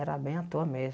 Era bem à toa mesmo.